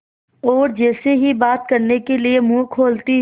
और जैसे ही बात करने के लिए मुँह खोलती हूँ